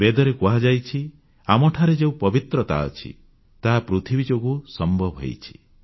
ବେଦରେ କୁହାଯାଇଛି ଆମଠାରେ ଯେଉଁ ପବିତ୍ରତା ଅଛି ତାହା ପୃଥିବୀ ଯୋଗୁଁ ସମ୍ଭବ ହୋଇଛି